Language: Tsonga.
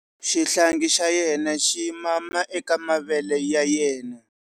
Xihlangi xa yena xi mama eka mavele ya yena.